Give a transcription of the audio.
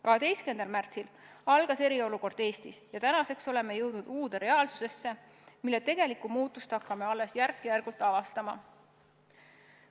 12. märtsil algas eriolukord Eestis ja tänaseks oleme jõudnud uude reaalsusesse, mille tegelikku muutust hakkame alles järk-järgult avastama.